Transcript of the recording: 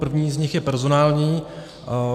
První z nich je personální.